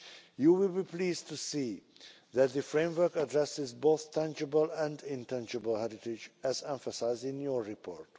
You will be pleased to see that the framework addresses both tangible and intangible heritage, as emphasised in your report.